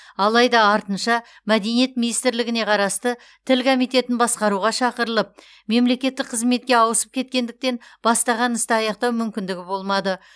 алайда артынша мәдениет министрлігіне қарасты тіл комитетін басқаруға шақырылып мемлекеттік қызметке ауысып кеткендіктен бастаған істі аяқтау мүмкіндігі болмады